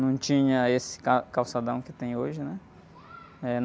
Não tinha esse ca, calçadão que tem hoje, né?